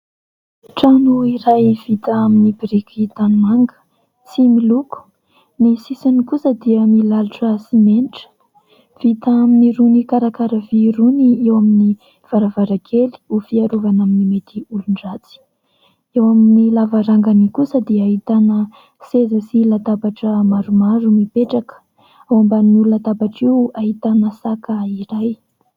Trano iray vita amin'ny biriky tanimanga sy miloko, ny sisiny kosa dia milalotra simenitra vita amin'irony karakara vy irony eo amin'ny varavarakely ho fiarovana amin'ny mety olon-dratsy, eo amin'ny lavarangany kosa dia ahitana seza sy latabatra maromaro mipetraka, ao ambanin'io latabatra io ahitana saka iray.